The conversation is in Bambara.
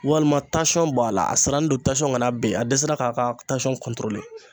Walima tasɔn b'a la a sirannen don tasɔn kana ben a dɛsɛra k'a ka tasɔn kɔntorole